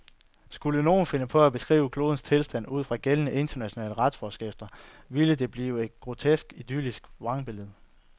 Skulle nogen finde på at beskrive klodens tilstand ud fra gældende, internationale retsforskrifter, ville det blive et grotesk idylliseret vrangbillede.